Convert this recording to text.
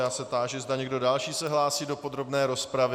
Já se táži, zda někdo další se hlásí do podrobné rozpravy.